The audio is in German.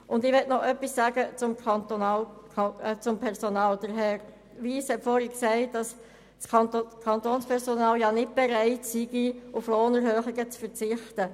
Ich möchte noch etwas zum Personal sagen: Herr Wyss hat vorhin gesagt, das Kantonspersonal sei nicht bereit, auf Lohnerhöhungen zu verzichten.